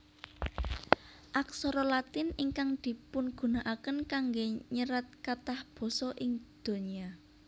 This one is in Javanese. Aksara Latin ingkang dipungunakaken kanggé nyerat kathah basa ing donya